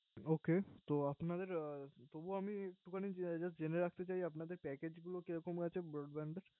Ok তো আপনাদের তবু আমি জেনে রাখতে চাই আপনাদের Package গুলো কেমন হয়েছে Broadband এর